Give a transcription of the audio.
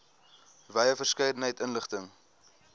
wye verskeidenheid inligting